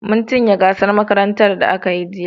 Mun cinye gasar makarantar da aka yi jiya.